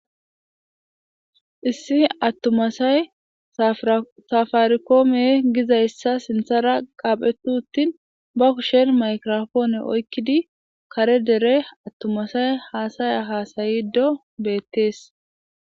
issi attuma say safarikoome gizayssa sinthara qaaphetu uttin ba kushen maykrofoone oykkidi kare dere attumasay haasaya haasayido beettees